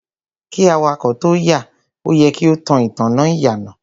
Kí awakọ̀ tóo yà, o yẹ kí o tan ìtanná ìyànà.